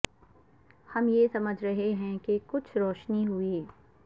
ہم یہ سمجھ رہے ہیں کہ کچھ روشنی ہوئی